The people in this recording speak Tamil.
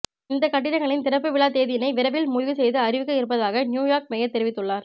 இந்த கட்டிடங்களின் திறப்புவிழா தேதியினை விரைவில் முடிவு செய்து அறிவிக்க இருப்பதாக நியூயார்க் மேயர் தெரிவித்துள்ளார்